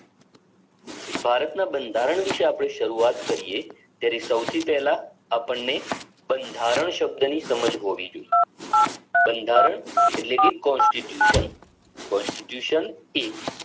ભારતના બંધારણ વિષે આપડે શરૂવાત કરીયે ત્યારે સૌથી પેલા આપણને બંધારણ શબ્દની સમાજ હોવી જોઈએ બંધારણ એટલે કે constitution એ